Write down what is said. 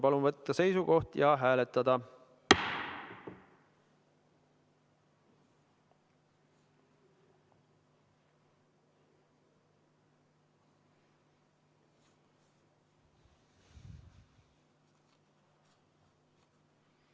Palun võtta seisukoht ja hääletada!